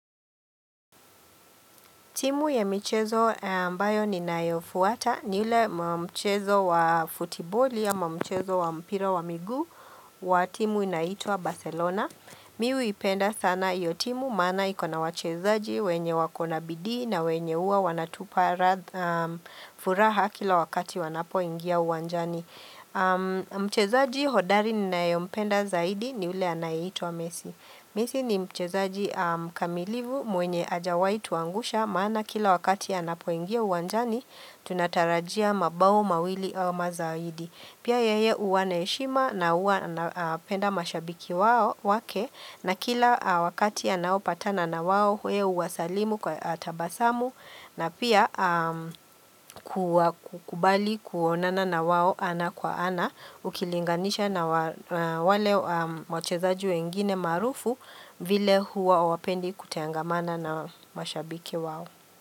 Timu ya michezo ambayo ninayofuata ni ule mchezo wa futiboli ama mchezo wa mpira wa miguu wa timu inaitwa Barcelona. Mimi huipenda sana hiyo timu maana ikona wachezaji wenye wako na bidii na wenye huwa wanatupa furaha kila wakati wanapoingia uwanjani. Mchezaji hodari ninayempenda zaidi ni ule anaitwa messi. Messi ni mchezaji mkamilivu mwenye hajawai tuangusha maana kila wakati anapoingia uwanjani tunatarajia mabao mawili au mazaidi. Pia yeye huwa na heshima na huwa anapenda mashabiki wao wake na kila wakati anaopatana na wao yeye huwasalimu kwa tabasamu na pia kuwakubali kuonana na wao ana kwa ana ukilinganisha na wale wachezaji wengine maarufu vile huwa hawapendi kutangamana na mashabiki wao.